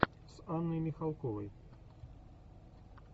с анной михалковой